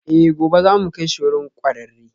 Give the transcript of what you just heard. Eh, gobe za mu kai shi wurin kwararre